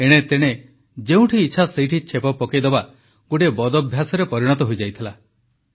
ଏଣେତେଣେ ଯେଉଁଠି ଇଚ୍ଛା ସେଇଠି ଛେପ ପକାଇଦେବା ଗୋଟିଏ ବଦଭ୍ୟାସରେ ପରିଣତ ହୋଇଯାଇଥିଲା